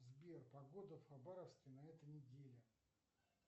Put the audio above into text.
сбер погода в хабаровске на этой неделе